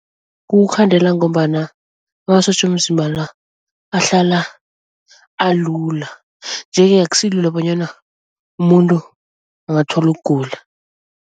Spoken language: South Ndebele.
Kukukhandela ngombana amasotja womzimba la ahlala alula nje-ke akusilula bonyana umuntu angathola ukugula.